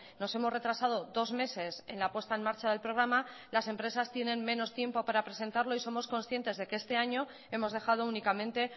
nos hemos retrasado dos meses en la puesta en marcha del programa las empresas tienen menos tiempo para presentarlo y somos conscientes de que este año hemos dejado únicamente